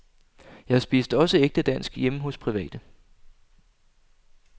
Jeg spiste også ægte dansk hjemme hos private.